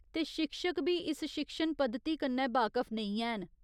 ते शिक्षक बी इस शिक्षण पद्धति कन्नै बाकफ नेईं हैन।